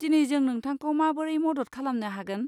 दिनै जों नोंथांखौ माबोरै मदद खालामनो हागोन?